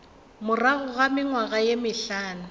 morago ga mengwaga ye mehlano